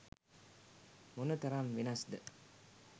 මොන තරම් වෙනස් ද